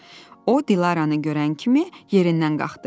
O, Dilaranı görən kimi yerindən qalxdı.